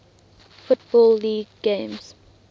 football league games